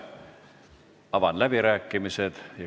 Avan läbirääkimised.